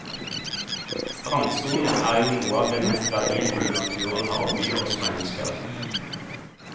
Strandsonen er jo noe av det mest verdifulle naturen har å by oss mennesker.